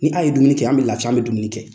Ni aw ye dumuni kɛ an bɛ lafiya an bɛ dumuni kɛ.